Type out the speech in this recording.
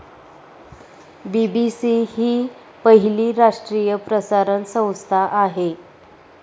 BBC हि पहिली राष्ट्रीय प्रसारण संस्था आहे.